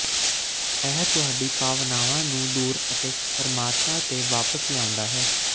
ਇਹ ਤੁਹਾਡੀ ਭਾਵਨਾਵਾਂ ਨੂੰ ਦੂਰ ਅਤੇ ਪਰਮਾਤਮਾ ਤੇ ਵਾਪਸ ਲਿਆਉਂਦਾ ਹੈ